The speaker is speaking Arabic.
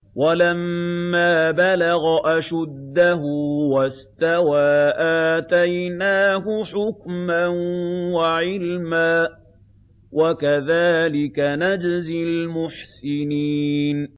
وَلَمَّا بَلَغَ أَشُدَّهُ وَاسْتَوَىٰ آتَيْنَاهُ حُكْمًا وَعِلْمًا ۚ وَكَذَٰلِكَ نَجْزِي الْمُحْسِنِينَ